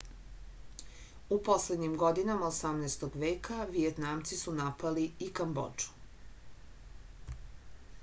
u poslednjim godinama 18. veka vijetnamci su napali i kambodžu